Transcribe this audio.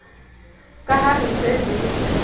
ka ha re se re